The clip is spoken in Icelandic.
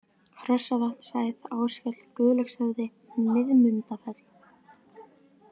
Hrossavatnshæð, Ásfjall, Guðlaugshöfði, Miðmundafell